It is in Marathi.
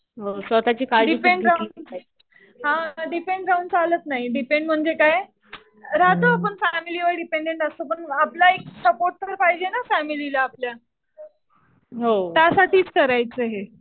डिपेंड राहून, हा. डिपेंड राहून चालत नाही. डिपेंड म्हणजे काय राहतो आपण फॅमिलीवर डिपेंडेंट असतो. पण आपला एक सपोर्ट पण पाहिजे ना फॅमिलीला आपल्या. त्यासाठीच करायचं हे.